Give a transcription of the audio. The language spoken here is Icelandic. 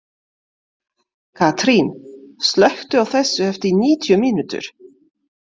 Katrín, slökktu á þessu eftir níutíu mínútur.